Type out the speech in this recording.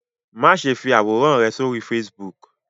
Máṣe fí àwòrán rẹ sórí Facebook.